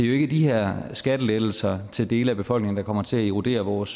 jo ikke de her skattelettelser til dele af befolkningen der kommer til at erodere vores